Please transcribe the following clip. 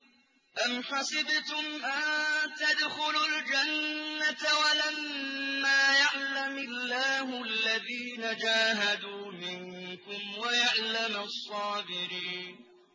أَمْ حَسِبْتُمْ أَن تَدْخُلُوا الْجَنَّةَ وَلَمَّا يَعْلَمِ اللَّهُ الَّذِينَ جَاهَدُوا مِنكُمْ وَيَعْلَمَ الصَّابِرِينَ